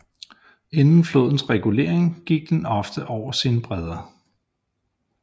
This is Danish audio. Inden flodens regulering gik den ofte over sine breder